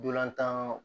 Dolantan